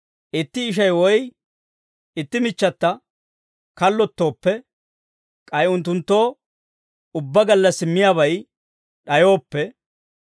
Itti ishay, woy itti michchata kallottooppe, k'ay unttunttoo ubbaa gallassi miyaabay d'ayooppe,